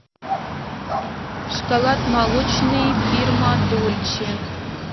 шоколад молочный фирма дольче